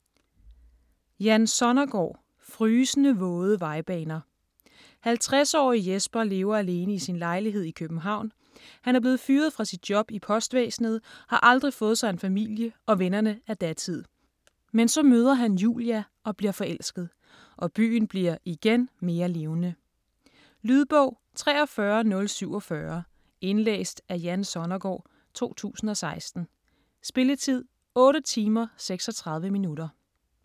Sonnergaard, Jan: Frysende våde vejbaner 50-årige Jesper lever alene i sin lejlighed i København. Han er blevet fyret fra sit job i postvæsenet, har aldrig fået sig en familie, og vennerne er datid. Men så møder han Julia og bliver forelsket. Og byen bliver (igen) mere levende. Lydbog 43047 Indlæst af Jan Sonnergaard, 2016. Spilletid: 8 timer, 36 minutter.